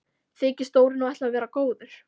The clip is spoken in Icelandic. Þykist Dóri nú ætla að vera góður.